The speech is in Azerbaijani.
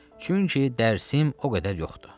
Çünki dərsim o qədər yoxdur.